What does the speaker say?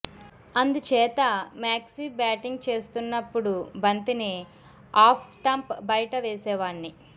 అందుచేత మ్యాక్సీ బ్యాటింగ్ చేస్తున్నప్పుడు బంతిని ఆఫ్ స్టంప్ బయట వేసేవాడ్ని